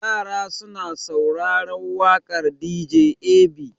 Yara suna sauraren waƙar dj ab.